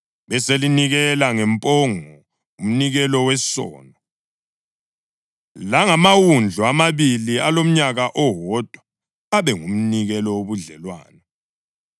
Beselinikela ngempongo umnikelo wesono, langamawundlu amabili alomnyaka owodwa abe ngumnikelo wobudlelwano.